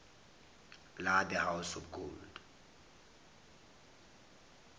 la the house of gold